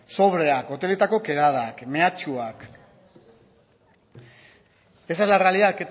sobreak hoteletako kedadak mehatxuak esa es la realidad